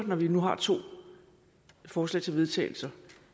når vi nu har to forslag til vedtagelser